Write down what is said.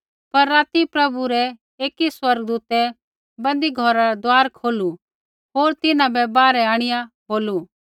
पर राती प्रभु रै एकी स्वर्गदूतै बन्दी घौरा रा दुआर खोलू होर तिन्हां बै बाहरै आंणिआ बोलू